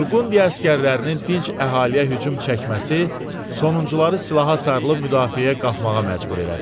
Burqundiya əsgərlərinin dinc əhaliyə hücum çəkməsi sonuncuları silaha sarılıb müdafiəyə qalxmağa məcbur elədi.